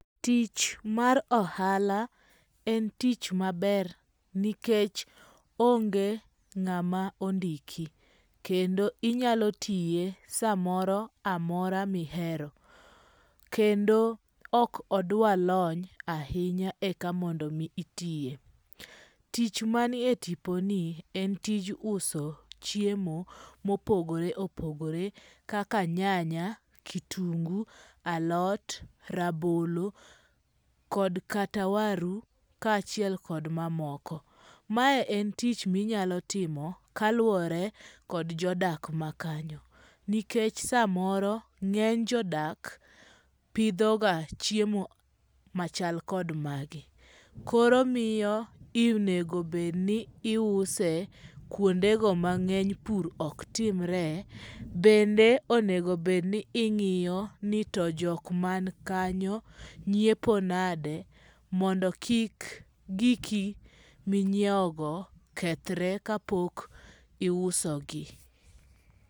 Tich mar ohala en tich maber nikech onge ngama ondiki , kendo inyalo tiye samoro mora ma ihero, kendo ok odwa lony ahinya eka mondo itiye, tich manie tiponi en tich uso chiemo mopogore opogore kaka nyanya ,kitungu, alot, rabolo kod kata waru kachiel kod mamoko , mae en tich ma inyalo timo kaluore kod jodak makanyo nikech samoro nge'ny jodak pithoga chiemo machal kod magi koro miyo onego bedni iuse kuonde go ma nge'ny pur oktimre bende onego bed ni ingi'yo ni to jok man kanyo nyiepo nade mondo kik giki minyiewogo kethre ka pok iusogi.